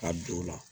Ka don o la